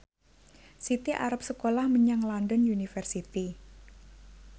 Siti arep sekolah menyang London University